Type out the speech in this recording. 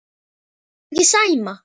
Þolirðu ekki Sæma?